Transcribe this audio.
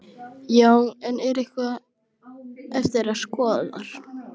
Já, en er eitthvað eftir að skoða þar?